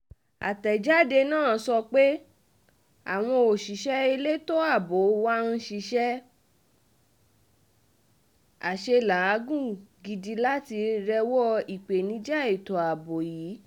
àtẹ̀jáde náà sọ pé àwọn òṣìṣẹ́ elétò ààbò wá ń ṣiṣẹ́ àṣelàágùn gidi láti rẹ́wọ́ ìpèníjà ètò ààbò yìí